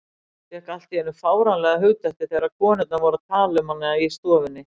Fékk allt í einu fáránlega hugdettu þegar konurnar voru að tala um hana í stofunni.